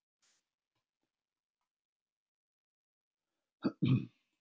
Eftir erfiða göngu náðu vísindamennirnir loks alla leið á toppinn.